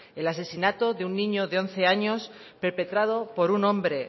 el asesinato de un niño de once años perpetrado por un hombre